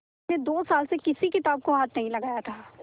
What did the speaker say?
उसने दो साल से किसी किताब को हाथ नहीं लगाया था